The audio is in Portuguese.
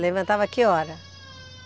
Levantava que hora?